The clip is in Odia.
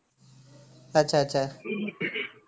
ଆଛା ଆଛା